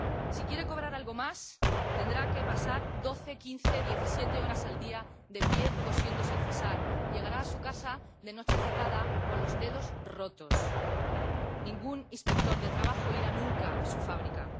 Si quiere cobrar algo más, tendrá que pasar doce, quince, diecisiete horas al día de pie, cosiendo sin cesar, y llegará a su casa de noche cerrada con los dedos rotos. Ningún inspector de trabajo irá nunca a su fábrica.